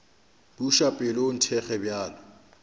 buša pelo o nthekge bjalo